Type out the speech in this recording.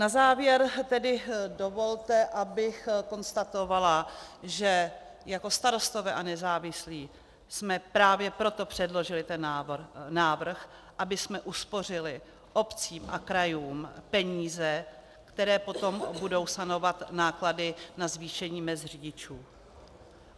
Na závěr tedy dovolte, abych konstatovala, že jako Starostové a nezávislí jsme právě proto předložili ten návrh, abychom uspořili obcím a krajům peníze, které potom budou sanovat náklady na zvýšení mezd řidičů.